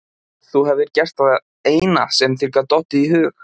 Þú hefðir gert það eina sem þér gat dottið í hug.